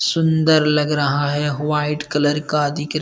सुंदर लग रहा है व्हाइट कलर का दिख --